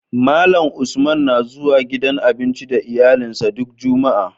Malan Usman na zuwa gidan abinci da iyalin sa duk jumaa